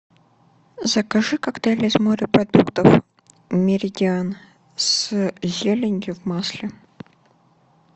закажи коктейль из морепродуктов меридиан с зеленью в масле